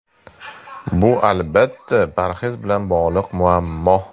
Bu, albatta, parhez bilan bog‘liq muammo.